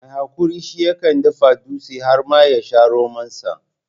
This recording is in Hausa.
Mai haƙuri shi yakan dafa dutse har ma ya sha romansa.